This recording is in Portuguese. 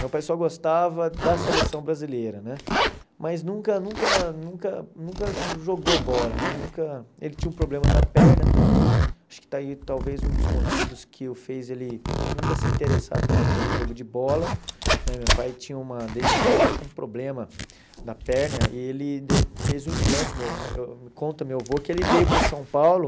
meu pai só gostava da seleção brasileira né, mas nunca nunca nunca nunca jogou bola né nunca, ele tinha um problema na perna também, acho que está aí talvez um dos motivos que o fez ele nunca se interessar tanto pelo jogo de bola, né meu pai tinha uma desde pequeno tinha um problema na perna, ele de fez um implante, meu eu conta meu avô que ele veio para São Paulo,